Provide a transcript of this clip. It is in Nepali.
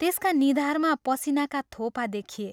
त्यसका निधारमा पसीनाका थोपा देखिए।